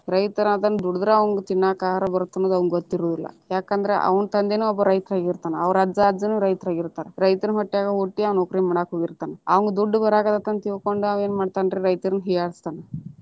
ರೈತರ ಅದನ್ನ ದುಡದರ ಅವ್ನಿಗೆ ತಿನ್ನಾಕ ಆಹಾರ ಬರುತ್ತ ಅನ್ನೋದು ಅವ್ನಿಗೆ ಗೊತ್ತ ಇರುದಿಲ್ಲಾ, ಯಾಕಂದ್ರ ಅವ್ನ ತಂದೆನು ಒಬ್ಬ ರೈತ ಆಗಿರ್ತಾನ ಅವ್ರ ಅಜ್ಜಾ ಅಜ್ಜಿನು ರೈತರಾಗಿರ್ತಾರ, ರೈತನ ಹೊಟ್ಟ್ಯಾಗ ಹುಟ್ಟಿ ಅವ ನೌಕರಿ ಮಾಡಾಕ ಹೋಗಿರತಾನ ಅವ್ನಿಗೆ ದುಡ್ಡು ಬರಕತೆತಿ ಅಂತ ತಿಳ್ಕೊಂಡ ಅವಾ ಏನ ಮಾಡ್ತಾನ ರೀ ರೈತರನ್ನ ಹೀಯಾಳಿಸತಾನ.